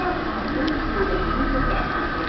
İki addım atıb yoldaşınızla qarşılaşırsız.